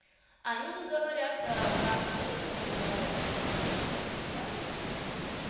они не говорят до брака но некоторые говорят есть которые говорят уже да но не все всё-таки